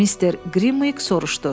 Mister Qrimviq soruşdu: